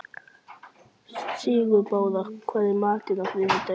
Sigurbára, hvað er í matinn á þriðjudaginn?